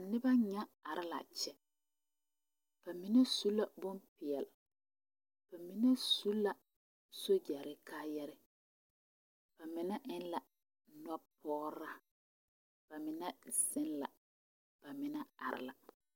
Noba nyɛ are la a kyɛ mine su la bompeɛle ba mine su la sogyare kaayare ba mine eŋ la nɔpɔgraa ba mine zeŋ la ba are la.